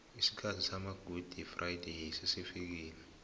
isikhathi samagudi frayideyi sesifikile